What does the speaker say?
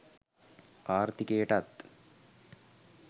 ආර්ථිකයටත්